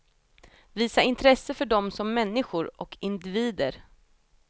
Visa intresse för dem som människor och individer.